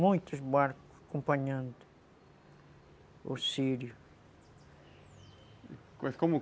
Muitos barcos acompanhando o sírio.